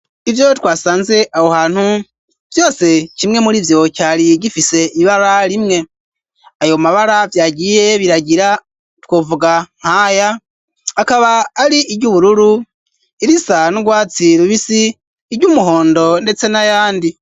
Ivyo twasanze aho hantu vyose kimwe murivyo cari gifise ibara rimwe ayo mabara vyagiye biragira twovuga nkaya akaba ari iryubururu irisa n'urwatsi rubisi iryumuhondo ndetse n'ayandi.